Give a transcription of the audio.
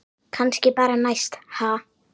Kannski bara næst, ha!